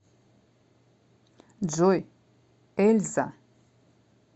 джой эльза